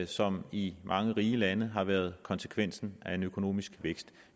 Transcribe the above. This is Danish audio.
som i mange rige lande har været konsekvensen af en økonomisk vækst